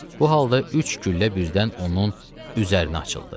Bu halda üç güllə birdən onun üzərinə açıldı.